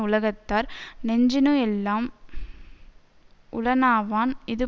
உலகத்தார் நெஞ்சினுளெல்லாம் உளனாவான் இது